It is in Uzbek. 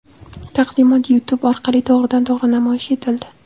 Taqdimot YouTube orqali to‘g‘ridan-to‘g‘ri namoyish etildi .